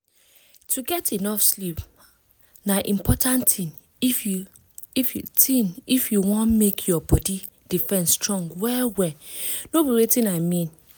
to get enough sleep ah na important thing if you thing if you wan make your body defense strong well-well na be watin i mean